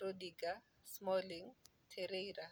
Rudiger, Smalling, Terreira